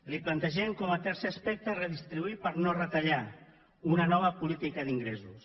li plantegem com a tercer aspecte redistribuir per no retallar una nova política d’ingressos